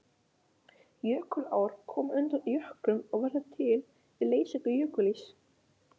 Jökulár koma undan jöklum og verða til við leysingu jökulíss.